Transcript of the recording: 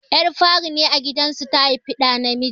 Ƴar fari a gidan su ce ta haifi ɗa namiji.